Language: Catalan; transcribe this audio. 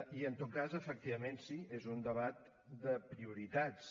i en tot cas efectivament sí és un debat de prioritats